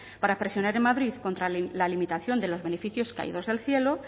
para presionar en madrid la limitación de los beneficios caídos del cielo